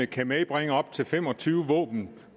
kan medbringe op til fem og tyve våben